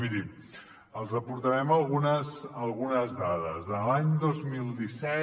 mirin els aportarem algunes dades de l’any dos mil disset